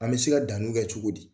An bɛ se ka danniw kɛ cogo di ?